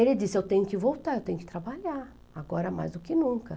Ele disse, eu tenho que voltar, eu tenho que trabalhar, agora mais do que nunca.